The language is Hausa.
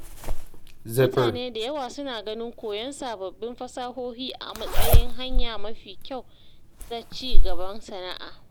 Mutane da yawa suna ganin koyon sababbin fasahohi a matsayin hanya mafi kyau ta ci gaban sana’a.